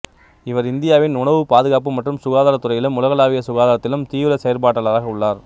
இவர் இந்தியாவின் உணவு பாதுகாப்பு மற்றும் சுகாதாரத் துறையிலும் உலகளாவிய சுகாதாரத்திலும் தீவிர செயற்பாட்டாளராக உள்ளார்